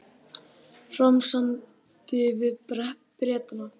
Fram samdi við Bretana